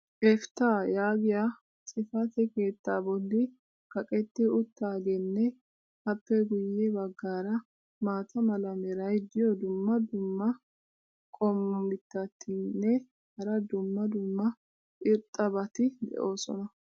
"Efitah" yaagiya xifatee keettaa boli kaqetti utaageenne appe guye bagaara maata mala meray diyo dumma dumma qommo mitattinne hara dumma dumma irxxabati de'oosona.